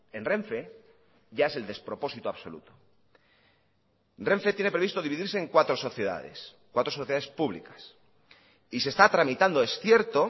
en renfe ya es el despropósito absoluto renfe tiene previsto dividirse en cuatro sociedades cuatro sociedades públicas y se está tramitando es cierto